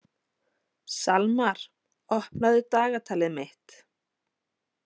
Salmar, opnaðu dagatalið mitt.